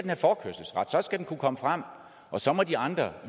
have forkørselsret så skal den kunne komme frem og så må de andre